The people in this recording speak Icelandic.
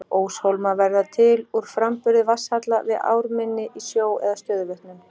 Óshólmar verða til úr framburði vatnsfalla við ármynni í sjó eða stöðuvötnum.